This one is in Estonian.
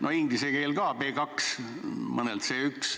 No inglise keel ka, tase B2, mõnel C1.